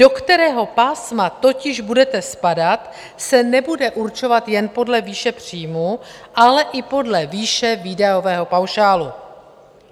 Do kterého pásma totiž budete spadat, se nebude určovat jen podle výše příjmů, ale i podle výše výdajového paušálu.